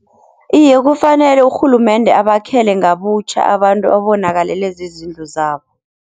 Iye kufanele urhulumende abakhele ngabutjha abantu abonakalelwe zizindlu zabo.